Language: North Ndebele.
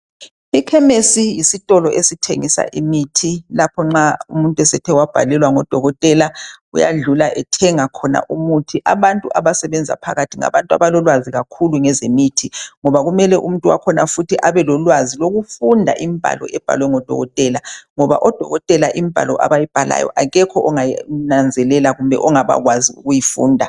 Ikhemisi yisitolo esithengisa imithi nxa umuntu engabhalelwa ngidokotela, uyadlula ethenga khona umuthi abantu abasebenza ophakathi ngabantu abalolwazi kwakhulu ngezemithi ngoba kumele umuntu wakhona futhi abelwazi lokufunda umbalo obhalwe ngudokotela ngoba odokotela umbalo yabo ayizwisiseki emuntwini ongafundanga.